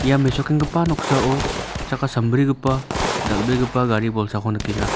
ia mesokenggipa noksao chakka sambrigipa dal·begipa gari bolsako nikenga.